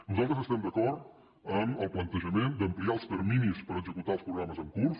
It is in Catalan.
nosaltres estem d’acord amb el plantejament d’ampliar els terminis per executar els programes en curs